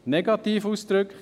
Negativ ausgedrückt: